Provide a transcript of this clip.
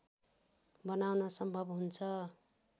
बनाउन सम्भव हुन्छ।